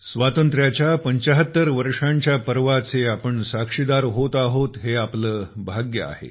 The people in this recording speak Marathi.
स्वातंत्र्याच्या 75 वर्षांच्या पर्वाचे आपण साक्षीदार होत आहोत हे आपले भाग्य आहे